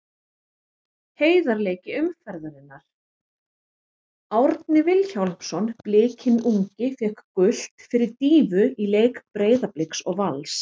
Heiðarleiki umferðarinnar: Árni Vilhjálmsson Blikinn ungi fékk gult fyrir dýfu í leik Breiðabliks og Vals.